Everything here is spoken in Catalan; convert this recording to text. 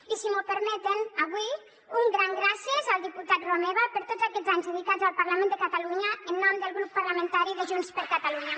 i si m’ho permeten avui un gran gràcies al diputat romeva per tots aquests anys dedicats al parlament de catalunya en nom del grup parlamentari de junts per catalunya